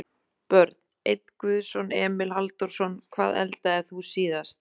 Börn: Einn guðson Emil Halldórsson.Hvað eldaðir þú síðast?